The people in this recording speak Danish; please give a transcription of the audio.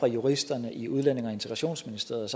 juristerne i udlændinge og integrationsministeriet